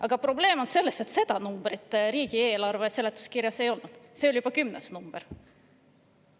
Aga probleem on selles, et seda numbrit riigieelarve seletuskirjas ei ole, see oli juba kümnes variant.